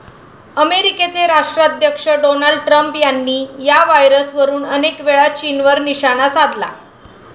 अमेरिकेचे राष्ट्राध्यक्ष Donald Trump यांनी या व्हायरसवरुन अनेकवेळा चीनवर निशाणा साधला.